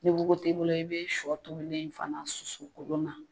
Ni wugu t'i bolo i bɛ shɔ tobilen in fana susu kolon na.